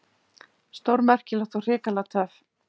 Stórmerkilegt og hrikalega töff.